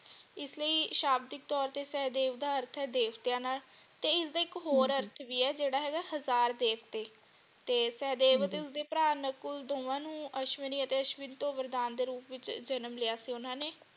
ਇਸਲਈ ਸ਼ਾਬਦਿਕ ਤੋਰ ਤੋਂ ਸੇਹਦੇਵ ਦਾ ਅਰਥ ਹੈ ਦੇਵਤਿਆਂ ਨਾਲ ਤੇ ਇਸਦਾ ਇਕ ਹੋਰ ਅਰਥ ਵੀ ਹੈ ਜਿਹੜਾ ਹੈਗਾ ਹਜ਼ਾਰ ਦੇਵਤੇ ਤੇ ਸੇਹਦੇਵ ਅਤੇ ਉਸਦੇ ਭਰਾ ਨਕੁਲ ਦੋਵਾਂ ਨੂੰ ਅਸ਼ਵਨੀ ਅਤੇ ਅਸ਼ਵਿਨ ਤੋਂ ਵਰਦਾਨ ਦੇ ਰੂਪ ਵਿਚ ਜਨਮ ਲਿਆ ਸੀ ਓਹਨਾ ਨੇ।